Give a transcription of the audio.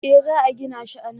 Eh za a gina shi a nan